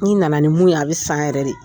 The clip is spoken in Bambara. N'i nana ni mun ye a bɛ san yɛrɛ de.